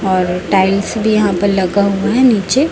और टाइल्स भी यहाँ पर लगा हुआ है नीचे --